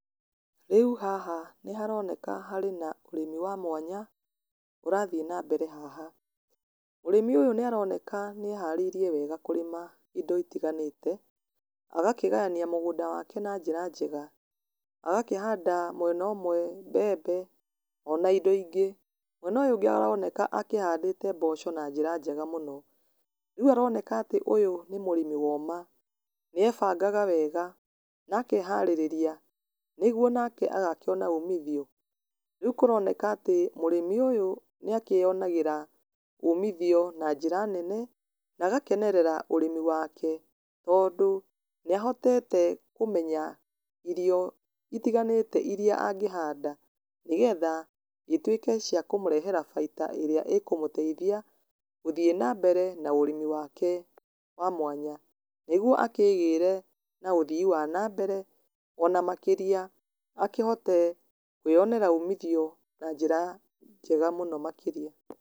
Rĩu haha nĩ haroneka harĩ na ũrĩmi wa mwanya ũrathiĩ na mbere haha. Mũrĩmi ũyũ nĩ aroneka nĩ eharĩirie wega kũrĩma indo itiganĩte, agakĩgayania mũgũnda wake na njĩra njega. Agakĩhanda mwena ũmwe mbembe, ona indo ingĩ. Mwena ũyũ ũngĩ aroneka akĩhandĩte mboco na njĩra njega mũno. Rĩu aroneka atĩ ũyũ nĩ mũrĩmi woma. Nĩ ebangaga wega, na akeharereri, nĩguo nake agakĩona ũmithio. Rĩu kũroneka atĩ mũrĩmi ũyũ, nĩ akĩyonagĩra ũmithio na njĩra nene, na agakenerera ũrĩmi wake. Tondũ, nĩ ahotete kũmenya irio itiganĩte iria angĩhanda, nĩgetha ituĩke cia kũmũrehera baita ĩrĩa ĩkũmũteithia, gũthiĩ na mbere na ũrĩmi wake wa mwanya. Nĩguo akĩĩgĩre na ũthii wa na mbere, ona makĩria akĩhote kwĩyonera umithio na njĩra njega mũno makĩria.